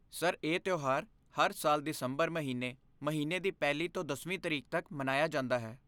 Sir, ਇਹ ਤਿਉਹਾਰ ਹਰ ਸਾਲ ਦਸੰਬਰ ਮਹੀਨੇ ਮਹੀਨੇ ਦੀ ਪਹਿਲੀ ਤੋਂ ਦਸਵੀਂ ਤਰੀਕ ਤੱਕ ਮਨਾਇਆ ਜਾਂਦਾ ਹੈ।